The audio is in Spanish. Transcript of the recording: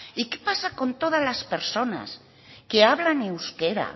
y qué pasa con todas las personas que hablan euskera